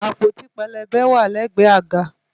Àpótí pélébé wà lẹ́gbẹ̀ẹ́ àga